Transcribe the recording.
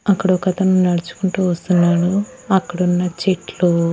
అక్కడ ఒకతను నడుచుకుంటూ వస్తున్నాడు అక్కడున్న చెట్లు.